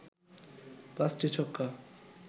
৫টি ছক্কা